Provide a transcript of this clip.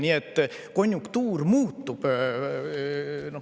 Nii et konjunktuur muutub.